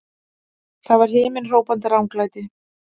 Það var himinhrópandi ranglæti!